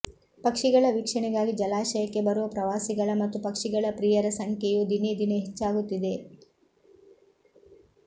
ಪಕ್ಷಿಗಳ ವೀಕ್ಷಣೆಗಾಗಿ ಜಲಾಶಯಕ್ಕೆ ಬರುವ ಪ್ರವಾಸಿಗಳ ಮತ್ತು ಪಕ್ಷಿಗಳ ಪ್ರಿಯರ ಸಂಖ್ಯೆಯು ದಿನೇ ದಿನೆ ಹೆಚ್ಚಾಗುತ್ತಿದೆ